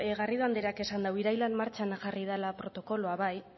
garrido andreak esan dau irailean martxan jarri dela protokoloa bai